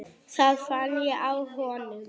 Það fann ég á honum.